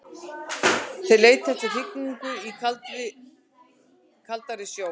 Þeir leita eftir hrygningu í kaldari sjó.